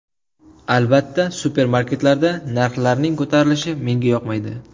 Albatta supermarketlarda narxlarning ko‘tarilishi menga yoqmaydi.